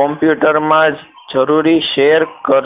computer માં જ જરૂરી share કર